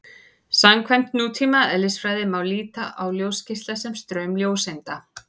Samkvæmt nútíma eðlisfræði má líta á ljósgeisla sem straum ljóseinda.